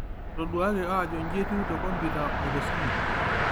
Etoduaki ajo nji etiu te kompita otesimu